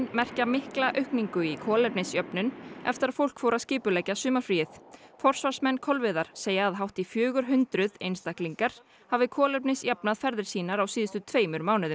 merkja mikla aukningu í kolefnisjöfnun eftir að fólk fór að skipuleggja sumarfríið forsvarsmenn Kolviðar segja að hátt í fjögur hundruð einstaklingar hafi kolefnisjafnað ferðir sínar á síðustu tveimur mánuðum